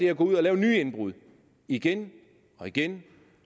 at gå ud og lave nye indbrud igen og igen